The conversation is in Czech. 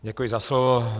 Děkuji za slovo.